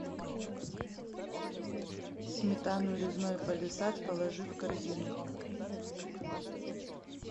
сметану резной палисад положи в корзину